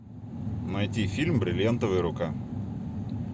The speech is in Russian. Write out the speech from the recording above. найти фильм бриллиантовая рука